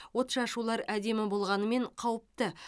отшашулар әдемі болғанымен қауіпті